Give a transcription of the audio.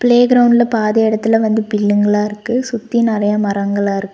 play கிரௌண்ட்ல பாதி எடத்துல வந்து பில்லுங்களா இருக்கு சுத்தி நெறைய மரங்களா இருக்--